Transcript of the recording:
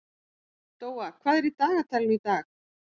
Dóa, hvað er í dagatalinu í dag?